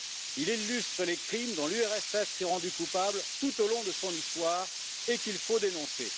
Il illustre les crimes dont l'URSS s'est rendue coupable tout au long de son histoire et qu'il faut dénoncer.